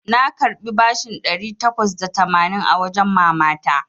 Na karɓi bashin ɗari takwas da tamanin a wajen mama ta.